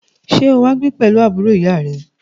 Sẹ́ o wá gbé pẹ̀lú àbúrò ìyá à rẹ?